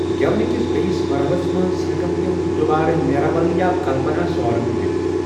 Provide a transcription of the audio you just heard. گٮ۪ونہٕ کِس بیٛکِس مرحلَس منٛز ہٮ۪کَن تِمۍ دُوبارٕ نیراول یا کلپناسوارم گٮ۪وِتھ۔